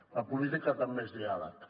la política també és diàleg